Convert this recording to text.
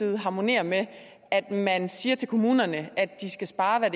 harmonerer med at man siger til kommunerne at de skal spare